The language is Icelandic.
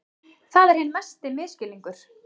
Það er hinn mesti misskilningur.